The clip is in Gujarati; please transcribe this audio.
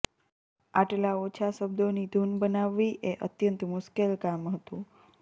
આટલા ઓછા શબ્દોની ધૂન બનાવવી એ અત્યંત મુશ્કેલ કામ હતું